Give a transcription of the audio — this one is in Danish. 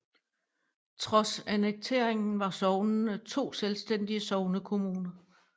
Trods annekteringen var sognene to selvstændige sognekommuner